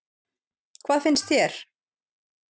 Hvað finnst þér?